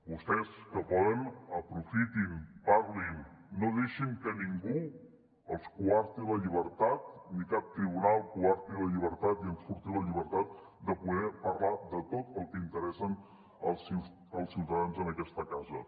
vostès que poden aprofitin parlin no deixin que ningú els coarti la llibertat ni cap tribunal coarti la llibertat i enforteixin la llibertat de poder parlar de tot el que interessa els ciutadans en aquesta casa